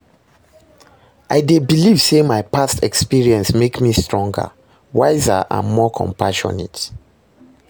i dey believe say my past experiences make me stronger, wiser and more compassionate.